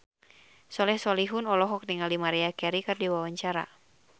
Soleh Solihun olohok ningali Maria Carey keur diwawancara